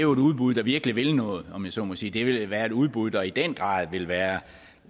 udbud der virkelig vil noget om jeg så må sige det er et udbud der i den grad vil være